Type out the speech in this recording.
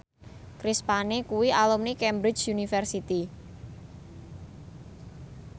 Chris Pane kuwi alumni Cambridge University